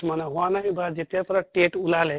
কিছুমানে হোৱা নাই বা যেতিয়াৰ পৰা TET ওলালে